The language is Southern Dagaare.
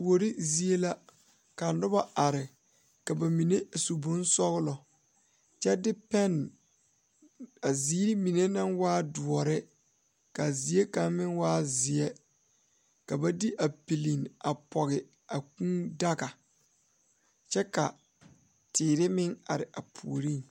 Kuori zie la ka noba are ka ba mine su bonsɔglɔ kyɛ de pɛne a ziiri mine naŋ waa doɔre k,a zeɛ kaŋ meŋ waa zeɛ ka ba de a piliŋ a pɔge a kūūdaga kyɛ ka teere meŋ are a puoriŋ.